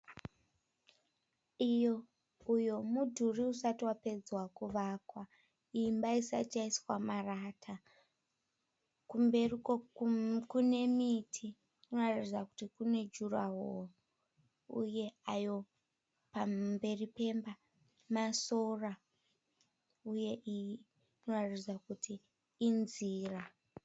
Uyo mudhuri usati wapedzwa kuvakwa imba isati yaiswa marata kumberi kune miti kunoratidza kuti kuti kune juraworo uye ayo pamberi pemba masora uye iyi inoratidza kuti inzira.